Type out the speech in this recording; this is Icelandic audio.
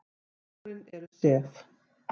Hárin eru sef.